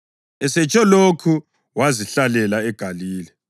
Esetsho lokhu wazihlalela eGalile.